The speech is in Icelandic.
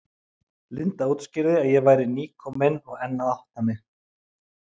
Linda útskýrði að ég væri nýkomin og enn að átta mig.